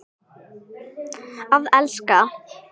Að elska.